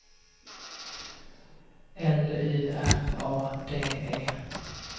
L U R A D E